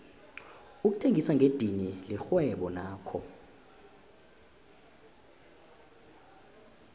ukuthengisa ngedidini lirhwebo nakho